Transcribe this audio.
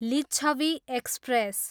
Licchavi express